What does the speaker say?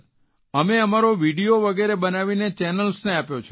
અમે અમારો વિડીયો વગેરે બનાવીને ચેનલ્સને આપ્યો છે